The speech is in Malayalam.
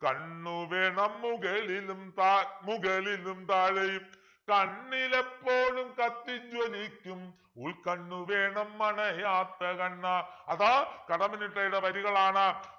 കണ്ണ് വേണം മുകളിലും താ മുകളിലും താഴെയും കണ്ണിലെപ്പോഴും കത്തി ജ്വലിക്കും ഉൾക്കണ്ണു വേണം അണയാത്ത കണ്ണ് അത് കടമ്മനിട്ടയുടെ വരികളാണ്